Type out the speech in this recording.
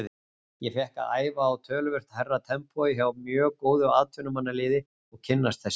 Ég fékk að æfa á töluvert hærra tempói hjá mjög góðu atvinnumannaliði og kynnast þessu.